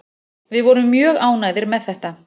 Við vorum mjög ánægðir með þetta